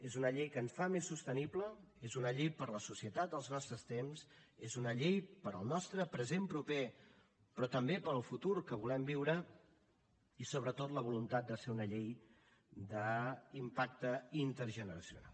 és una llei que ens fa més sostenibles és una llei per a la societat dels nostres temps és una llei per al nostre present proper però també per al futur que volem viure i sobretot la voluntat de ser una llei d’impacte intergeneracional